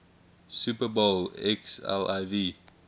super bowl xliv